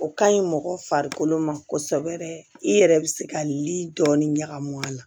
O ka ɲi mɔgɔ farikolo ma kosɛbɛ i yɛrɛ bɛ se ka li dɔɔnin ɲagami a la